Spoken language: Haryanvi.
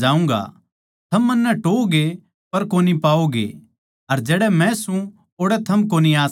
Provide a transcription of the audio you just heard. थम मन्नै टोहओगे पर कोनी पाओगे अर जड़ै मै सूं ओड़ै थम कोनी आ सकदे